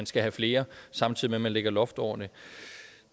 skal have flere samtidig med lægger loft over det